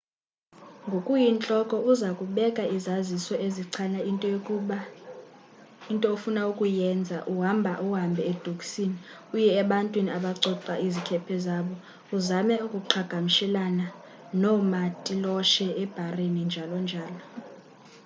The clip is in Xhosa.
ngokuyintloko uza kubeka izaziso ezichaza into ofuna ukuyenza uhamba hambe edokisini uye ebantwini abacoca izikhephe zabo uzame ukuqhagamshelana noomatiloshe ebharini njl njl